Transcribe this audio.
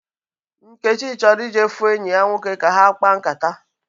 Nkechi chọrọ ije fu enyi ya nwoke ka ha kpaa nkata